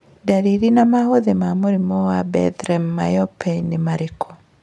Ndariri na maũthĩ ma mũrimũ Bethlem myopathy nĩ marikũ?